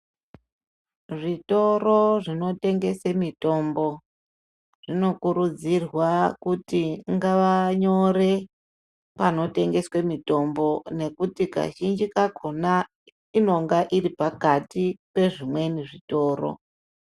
Zvitoro zvinotengese mitombo zvinokuridzirwa kuti ngavanyore panotengeswe mitombo ngekuti kazhinji kakhona inenge iripakati pezvimweni zvitoro.